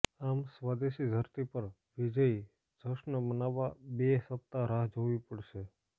આમ સ્વદેશી ધરતી પર વિજયી જશ્ન મનાવવા બે સપ્તાહ રાહ જોવી પડશે